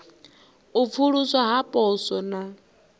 u pfuluswa ha poswo na